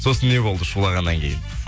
сосын не болды шулағаннан кейін